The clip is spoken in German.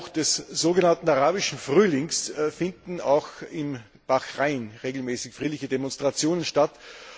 Seit Ausbruch des sogenannten Arabischen Frühlings finden auch in Bahrain regelmäßig friedliche Demonstrationen statt.